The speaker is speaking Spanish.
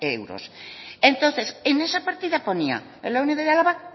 euros entonces en esa partida ponía en la unidad de álava